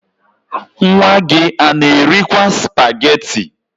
Nwa gị a na-erikwaa spageti?